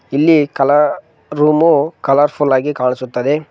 ಇಲ್ಲಿ ಕಲಾ ರೂಮು ಕಲರ್ಫುಲ್ಲಾಗಿ ಕಾಣಿಸುತ್ತದೆ.